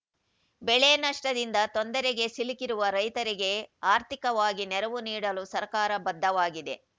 ಬೆಳೆ ನಷ್ಟದಿಂದ ತೊಂದರೆಗೆ ಸಿಲುಕಿರುವ ರೈತರಿಗೆ ಆರ್ಥಿಕವಾಗಿ ನೆರವು ನೀಡಲು ಸರ್ಕಾರ ಬದ್ಧವಾಗಿದೆ